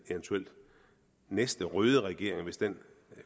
næste røde regering hvis den